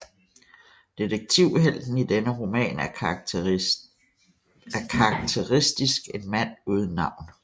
Detektivhelten i denne roman er karakteristisk en mand uden navn